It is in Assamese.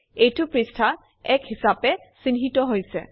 এইটো পৃষ্ঠা ১ হিচাপে চিহ্নিত হৈছে